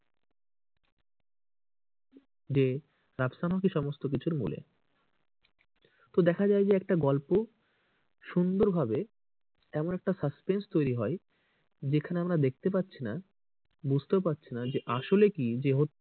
যে রাফসান হক ই সমস্ত কিছুর মুলে। তো দেখা যায় যে একটা গল্প, সুন্দরভাবে এমন একটা suspense তৈরী হয় যেখানে আমরা দেখতে পারছিনা বুঝতেও পারছিনা আসলে কে যে,